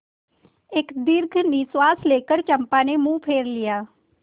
एक दीर्घ निश्वास लेकर चंपा ने मुँह फेर लिया